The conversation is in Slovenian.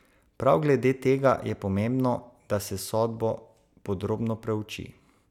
Prav glede tega je pomembno, da se sodbo podrobno preuči.